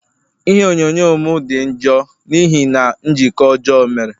Ihe onyonyo m di njọ n'ihi na njikọ ọjọọ o mere